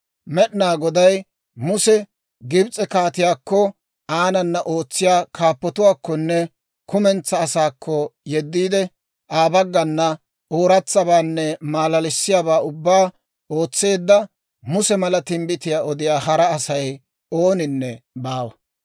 Med'inaa Goday Musa Gibs'e kaatiyaakko, aanana ootsiyaa kaappatuwaakkonne kumentsaa asaakko yeddiide, Aa baggana ooratsabaanne maalalissiyaabaa ubbaa ootseedda, Muse mala timbbitiyaa odiyaa hara Asay ooninne baawa.